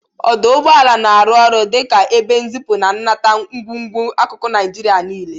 Ọdụ ụgbọala na-arụ ọrụ dị ka ebe nzipu na nnata ngwugwu n'akụkụ Naịjirịa niile.